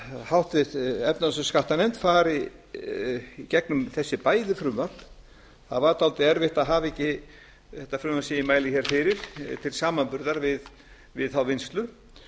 háttvirt efnahags og skattanefnd fari í gegnum þessi bæði frumvörp það var dálítið erfitt að hafa ekki þetta frumvarp sem ég mæli hér fyrir til samanburðar við þá vinnslu